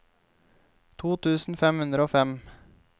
to tusen fem hundre og fem